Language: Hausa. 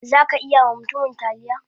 Zaka iya ma mutumin talliya?